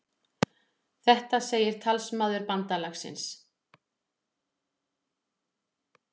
Þetta segir talsmaður bandalagsins